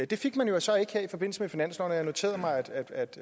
det fik man jo så ikke her i forbindelse med finansloven og jeg noterede mig